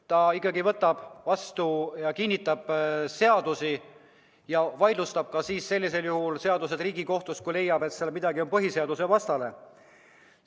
Ta ikkagi võtab vastu ja kinnitab seadusi ja vaidlustab seadused Riigikohtus, kui leiab, et neis on midagi põhiseadusvastast.